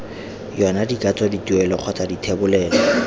yona dikatso dituelo kgotsa dithebolelo